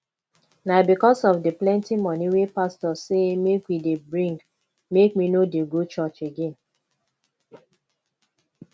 na because of di plenty moni wey pastor sey make we dey bring make me no dey go church again